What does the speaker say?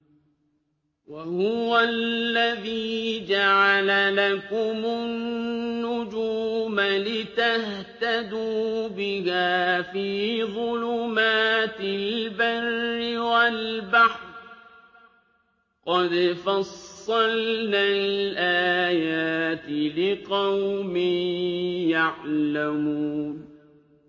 وَهُوَ الَّذِي جَعَلَ لَكُمُ النُّجُومَ لِتَهْتَدُوا بِهَا فِي ظُلُمَاتِ الْبَرِّ وَالْبَحْرِ ۗ قَدْ فَصَّلْنَا الْآيَاتِ لِقَوْمٍ يَعْلَمُونَ